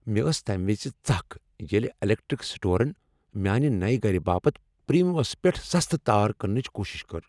مےٚ ٲس تمہ وز ژکھ ییٚلہ الیکٹرک سٹورن میانہ نیہ گرٕ باپتھ پرٛیمیوس پیٹھ سستہٕ تار کٕننٕچ کوشش کٔر۔